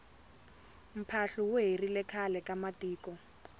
mphahlu wu herile khale ka matiko